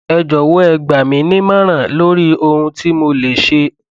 ẹ jọwọ ẹ gbà mí nímọràn lórí ohun tí mo lè ṣe